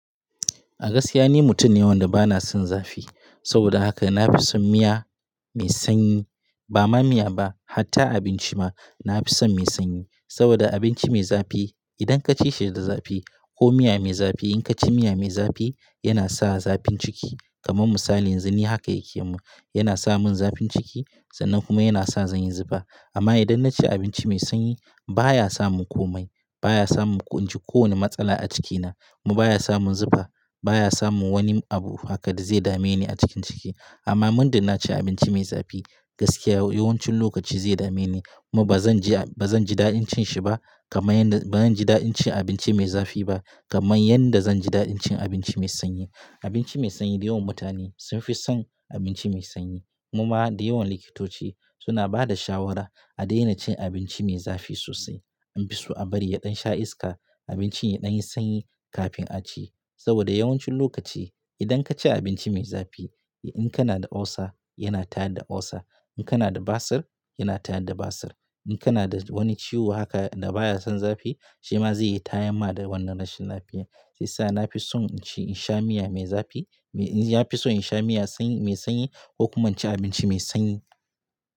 A gaskiya ni mutum ne wanda bana son zafi. Saboda haka na fi son miya mai sanyi. Ba ma miya ba, hatta abinci ma na fi son mai sanyi. Saboda abinci mai zafi idan ka ci shi da zafi ko miya mai zafi in ka ci miya mai zafi, yana sa zafin ciki. Kaman misali, yanzu ni haka yake mun. Yana sa mun zafin ciki sannan kuma yana sa zanyi zufa. Amma idan na ci abinci mai sanyi baya sa mun komai. Baya sa mun ku-- inci kowane matsala a cikina kuma baya sa mun zufa. Baya sa mun wani abu haka da zai dame ni a cikin ciki. Amma mundar na ci abinci mai zafi, gaskiya yawancin lokaci zai dame ni. Kuma ba zan ji a-- ba zan ji daɗin cin shi ba kamar yadda-- ba zan ji daɗin cin abinci mai zafi ba kamar yadda zan ji daɗin cin abinci mai sanyi. Abinci mai sanyi dayawan mutane sun fi son abinci mai sanyi. Kuma da yawan likitoci suna bada shawara a daina cin abinci mai zafi sosai. An fi so a bari ya ɗan sha iska, abinci ya ɗan yi sanyi kafin a ci. Saboda yawancin lokaci idan ka ci abinci mai zafi, in kana da ulcer yana ta da ulcer. In kana da basir yana ta da basir In kana da wani ciwo haka da baya son zafi, shi ma zai yi tayama da wannan rashin lafiya. Sai sa na fi son inci in sha miya mai zafi, na fi so in sha miya sanyi mai sanyi ko kuma inci abinci mai sanyi.